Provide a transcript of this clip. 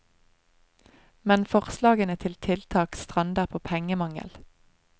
Men forslagene til tiltak strander på pengemangel.